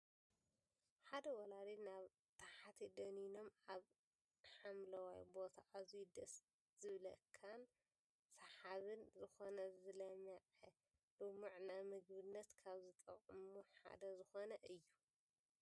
ሓደ ወላዲ ናብ ታሕቲ ደንኖምን ኣብ ሓምለዋይ ቦታ ኣዝዩ ድስ ዝብለካን ስሓብን ዝኮነ ዝለመዐ ልሙዕ ንምግብነት ካብ ዝጠቅሙ ሓደ ዝኮነ እዩ።